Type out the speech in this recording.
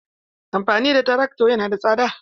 Amfani da trakto yana da tsada.